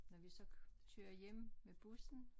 Når vi så kører hjem med bussen